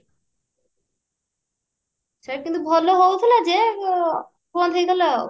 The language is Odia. ସେଇଟା କିନ୍ତୁ ଭଲ ହଉଥିଲା ଯେ ଆଁ କିନ୍ତୁ ବନ୍ଦ ହେଇଗଲା